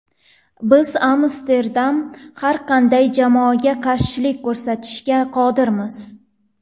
Biz Amsterdamda har qanday jamoaga qarshilik ko‘rsatishga qodirmiz.